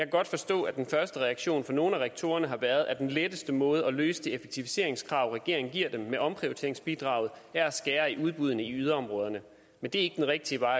godt forstå at den første reaktion fra nogle af rektorerne har været at den letteste måde at løse det effektiviseringskrav regeringen giver dem med omprioriteringsbidraget er at skære i udbuddene i yderområderne men det er ikke den rigtige vej